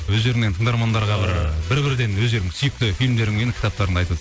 өздеріңнен тыңдармандарға бір ы бір бірден өздерінің сүйікті фильмдерің мен кітаптар